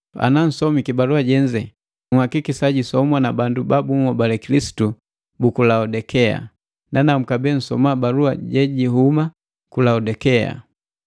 Anansomiki balua jenze, nhakikisa jisomwa na bandu ba bunhobale Kilisitu buku Laodikea. Nanamu kabee nsoma balua jejihuma ku Laodikea.